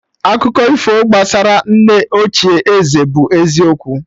Akụkọ ifo gbasara nne ochie ézẹ̀ bụ eziokwu